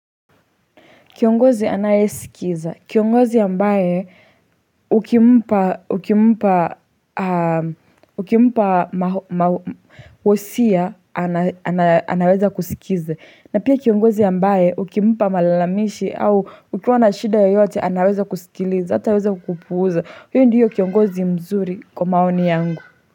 Kiongozi anayesikiza. Kiongozi ambaye, ukimpa wosia, anaweza kusikiza. Na pia kiongozi ambaye, ukimpa malalamishi au ukiwa na shida yoyote, anaweza kusikiliza, hataweza kukupuuza. Huyo ndiyo kiongozi mzuri kwa maoni yangu.